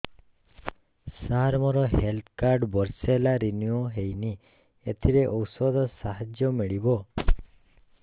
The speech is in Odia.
ସାର ମୋର ହେଲ୍ଥ କାର୍ଡ ବର୍ଷେ ହେଲା ରିନିଓ ହେଇନି ଏଥିରେ ଔଷଧ ସାହାଯ୍ୟ ମିଳିବ